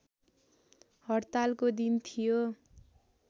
हड्तालको दिन थियो